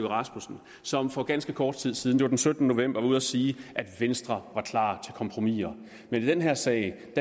rasmussen som for ganske kort tid siden det var den syttende november var ude at sige at venstre var klar til kompromiser men i den her sag